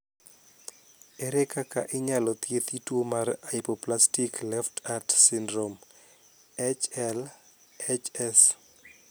Ere kaka inyalo thiethi tuo mar hypoplastic left heart syndrome (HLHS)?